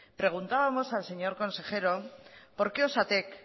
preguntábamos al señor consejero por qué osatek